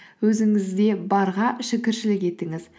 өзіңізде барға шүкіршілік етіңіз